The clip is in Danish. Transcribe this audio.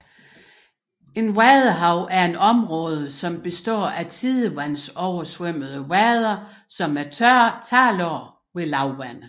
Et vadehav er et havområde som består af tidevandsoversvømmede vader som er tørlagte ved lavvande